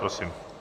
Prosím.